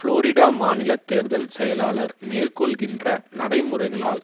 Florida மாநில தேர்தல் செயலாளர் மேற்கொள்ளுகின்ற நடைமுறைகளால்